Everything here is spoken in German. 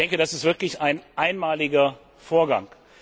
Ich denke, das ist wirklich ein einmaliger Vorgang.